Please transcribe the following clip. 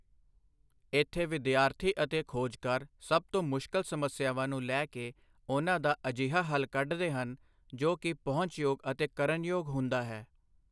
ਇਥੇ ਵਿਦਿਆਰਥੀ ਅਤੇ ਖੋਜਕਾਰ ਸਭ ਤੋਂ ਮੁਸ਼ਕਿਲ ਸਮੱਸਿਆਵਾਂ ਨੂੰ ਲੈ ਕੇ ਉਨ੍ਹਾਂ ਦਾ ਅਜਿਹਾ ਹੱਲ ਕਢਦੇ ਹਨ ਜੋ ਕਿ ਪਹੁੰਚਯੋਗ ਅਤੇ ਕਰਨਯੋਗ ਹੁੰਦਾ ਹੈ।